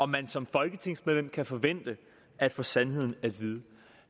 man som folketingsmedlem kan forvente at få sandheden at vide